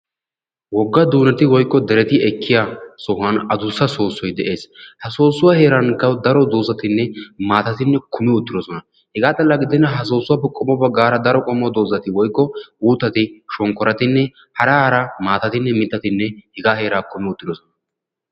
Wogga duunetti woykko dereti ekkiyaasan adussa soossoy de'ees. ha soossuwaa heeran darotoo doozatinne maatati kumi uttidosona. hegaa xalla gidenna ha soossuwaappe qommo baggara daro uuttati shonkkorotinne hara hara maatatinne mittati hegaa heeraa kumi uttidosona.